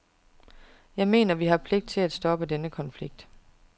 Jeg mener, at vi har pligt til at stoppe den konflikt.